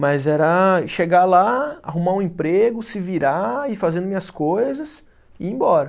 Mas era chegar lá, arrumar um emprego, se virar, ir fazendo minhas coisas e ir embora.